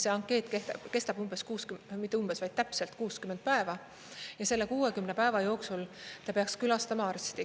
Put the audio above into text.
Ankeet kehtib täpselt 60 päeva ja selle 60 päeva jooksul ta peaks külastama arsti.